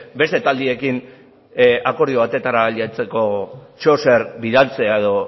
beste taldeekin akordio batera ailegatzeko zeozer bidaltzea edo